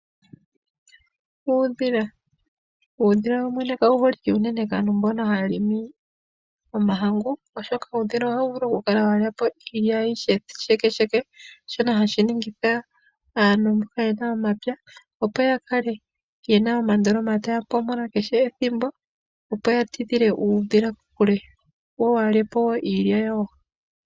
Uudhila, uudhila wowene ka wu holike kaa kaantu mboka ha ya longo omahangu oshoka uudhila oha wu vulu oku kala wa lyapo iilya ayihe shekesheke, shono hashi ningi aantu mbono ye na omapya opo ya kale ye na omandoloma ta ya pompola kehe ethimbo opo ya tidhile uudhila kokule wo waha lye po woo iilya yawo.